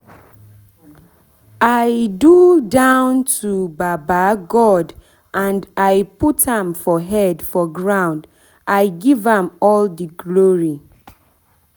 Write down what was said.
i do down to baba god and i put am for head for ground i give am all the glory